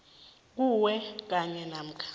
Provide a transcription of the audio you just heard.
kuwe kanye namkha